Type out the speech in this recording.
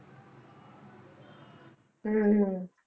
ਹਮ ਹਮ